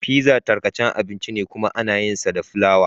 Pizza tarkacan abinci ne kuma ana yinsa da fulawa.